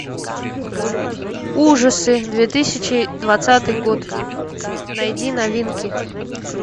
ужасы две тысячи двадцатый год найди новинки